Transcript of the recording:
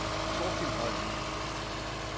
Thorkild Holm